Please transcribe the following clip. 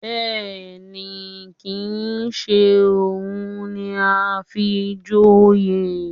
Bẹ́ẹ̀ni, kìí ṣe òun ni a fi joyè